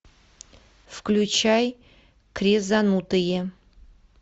включай крезанутые